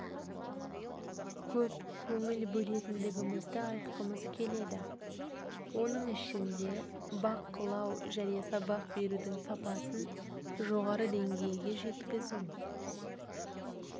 көп көңіл бөлетіндігімізді айтқымыз келеді оның ішінде бақылау және сабақ берудің сапасын жоғары деңгейге жеткізу